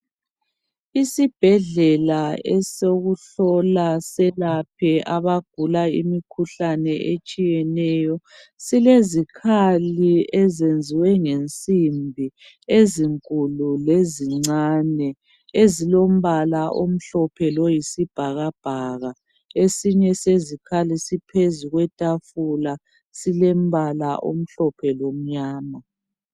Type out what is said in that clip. Isibhedlela esokuhlola selaphe abagula imikhuhlane etshiyeneyo. Silezikhali ezenziwe ngensimbi ezinkulu lezincane. Ezilombala omhlophe loyizibhakabhaka esinye sezikhali siphezu kwetafula silombala omhlophe lomnyama.